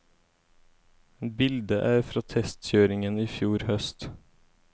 Bildet er fra testkjøringen i fjor høst.